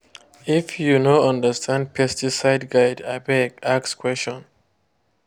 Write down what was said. if you no understand pesticide guide abeg ask question.